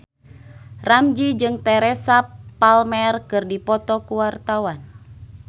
Ramzy jeung Teresa Palmer keur dipoto ku wartawan